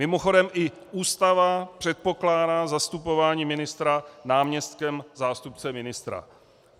Mimochodem, i Ústava předpokládá zastupování ministra náměstkem, zástupcem ministra.